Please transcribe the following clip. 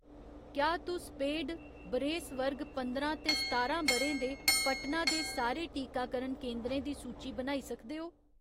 क्या तुस पेड बरेस वर्ग पंदरां ते सतारां ब'रें दे पटना दे सारे टीकाकरण केंदरें दी सूची बनाई सकदे ओ ?